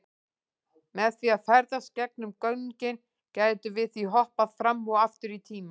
Með því að ferðast gegnum göngin gætum við því hoppað fram og aftur í tíma.